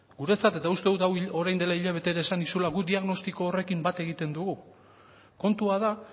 guretzat eta uste dut hau orain dela hilabete bat esan nizula gu diagnostiko horrekin bat egiten dugu kontua da